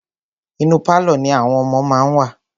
Inú pálọ̀ ní àwọn ọmọ wọn wà.